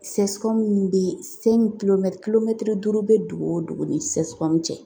CSCOM min bɛ kilomɛtiri duuru bɛ dugu o dugu ni CSCOM cɛ